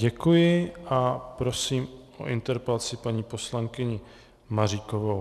Děkuji a prosím o interpelaci paní poslankyni Maříkovou.